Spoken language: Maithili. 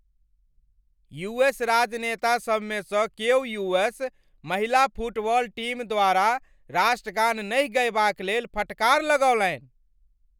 यू एस राजनेतासब मे स क्यो यू.एस , महिला फुटबॉल टीम द्वारा राष्ट्रगान नहि गयबा क लेल फटकार लगौलनि।